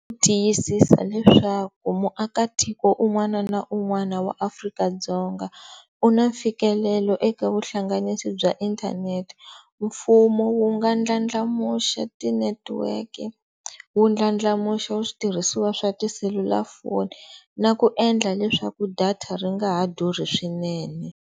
Ku tiyisisa leswaku muakatiko un'wana na un'wana wa Afrika-Dzonga u na mfikelelo eka vuhlanganisi bya inthanete, mfumo wu nga ndlandlamuxa ti-network-i, wu ndlandlamuxa switirhisiwa swa tiselulafoni na ku endla leswaku data ri nga ha durhi swinene.